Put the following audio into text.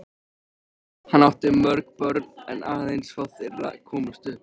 Hann átti mörg börn en aðeins fá þeirra komust upp.